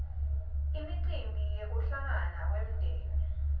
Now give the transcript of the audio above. imicimbi yekuhlangana kwemdzeni